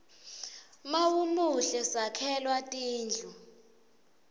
mawumuhle sakhelwa tindlu